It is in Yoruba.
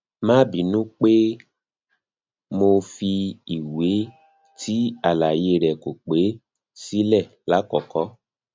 ma binu pe mo fi iwe ti alaye re ko pe sile lakoko